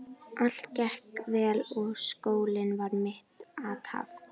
Allt gekk vel og skólinn var mitt athvarf.